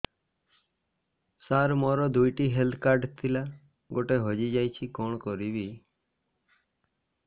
ସାର ମୋର ଦୁଇ ଟି ହେଲ୍ଥ କାର୍ଡ ଥିଲା ଗୋଟେ ହଜିଯାଇଛି କଣ କରିବି